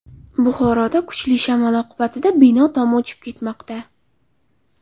Buxoroda kuchli shamol oqibatida bino tomi uchib ketmoqda.